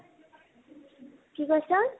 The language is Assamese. কি কৈছা ?